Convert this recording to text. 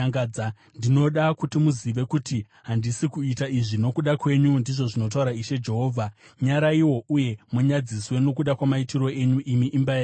Ndinoda kuti muzive kuti handisi kuita izvi nokuda kwenyu, ndizvo zvinotaura Ishe Jehovha. Nyaraiwo uye munyadziswe nokuda kwamaitiro enyu, imi, imba yaIsraeri!